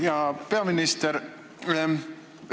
Hea peaminister!